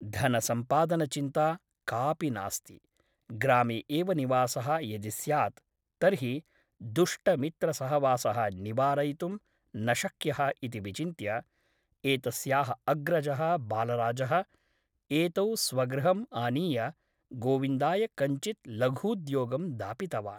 धनसम्पादनचिन्ता कापि नास्ति । ग्रामे एव निवासः यदि स्यात् तर्हि दुष्टमित्रसहवासः निवारयितुं न शक्यः इति विचिन्त्य एतस्याः अग्रजः बालराजः एतौ स्वगृहम् आनीय गोविन्दाय कञ्चित् लघूद्योगं दापितवान् ।